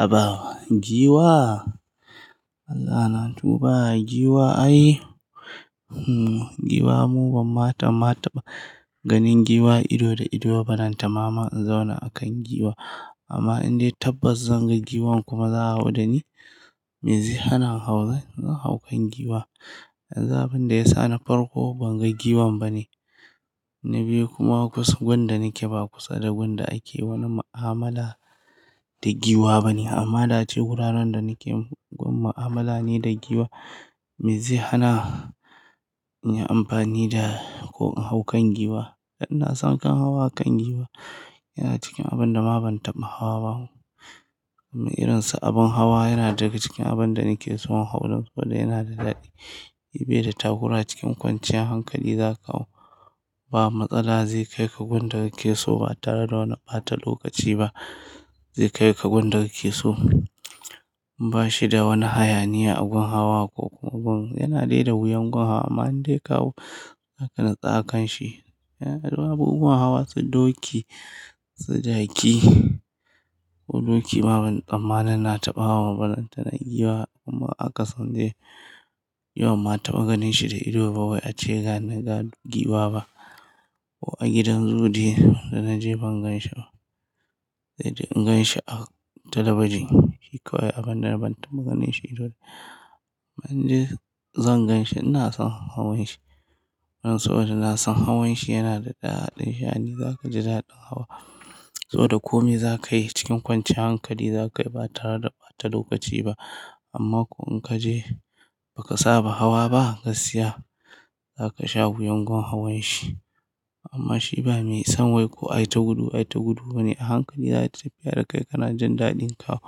Aba giwa? Allah na tuɓa giwa ai, hmm giwa mu ban mata ma taɓa ganin giwa ido da ido balanta ma in zauna a kan giwa amma in dai tabbas zan ga giwan kuma za a hawa da ni, me zai hana in hau zanyi hau kan giwa. Abin da ya sa na farko ban ga giwan bane, na biyu kuma kusan gundin da nake ba kusa da gundin ake wani ma'amala da giwa bane. Amma da ce wuraren da nake gun ma'amala ne da giwa me zai hana in yi amfani da ko in hau kan giwa? Ina son kan hawa kan giwa yana cikin abin da ma ban taɓa hawa ba. Irinsa abin hawa yana daga cikin abin da nake so in hau saboda yana da daɗi, ya bi da takura cikin kwanciyar hankali za ka hau ba matsala zai kai ka gun da kake so ba tare da wani ɓata lokaci ba, zai kai ka gun da kake so ba shi da wani hayaniya a gun hawa ko gun yana dai da wuyan gun hawa amma in dai ka hau zaka natsu a kan shi. Yana da babban unguwan hawa su doki, su jaki ko doki babu tsammanin na taɓa hawa ba na ta na giwa kuma a kasance ni banma taɓa ganin shi da ido ba wai ace ga naga giwa ba. Ko a gidan zoo dai da naje ban gan shi ba, sai de in gan shi a talabijin shi kawai abin da na ban taɓa ganin shi ido. Ban ji zan gan shi ina son hawan shi don saboda ina son hawan shi yana da daɗi, sha'ani zaka ji daɗin hawa saboda kome za ka yi cikin kwanciyar hankali za ka yi ba tare da ɓata lokaci ba. Amma ko in kaje ba ka saba hawa ba, gasiya za ka sha wuyan gun hawan shi amma shi ba mai son wai ko ai ta gudu ai ta gudu bane a hankali zata tafiya da kai kana jin daɗin kawo.